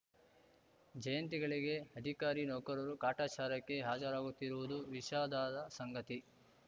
ಜಯಂತಿಗಳಿಗೆ ಅಧಿಕಾರಿ ನೌಕರರು ಕಾಟಾಚಾರಕ್ಕೆ ಹಾಜರಾಗುತ್ತಿರುವುದು ವಿಷಾದದ ಸಂಗತಿ